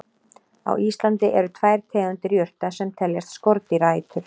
Á Íslandi eru tvær tegundir jurta sem teljast skordýraætur.